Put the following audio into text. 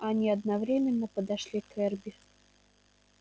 они одновременно подошли к эрби